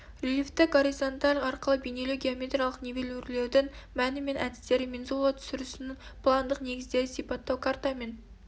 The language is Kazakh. рельефті горизонталь арқылы бейнелеу геометриялық нивелирлеудің мәні мен әдістері мензула түсірісінің пландық негіздері сипаттау карта мен